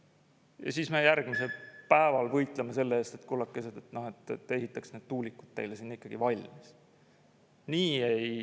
Ja siis me järgmisel päeval võitleme selle eest, et kullakesed, ehitataks need tuulikud teile sinna ikkagi valmis.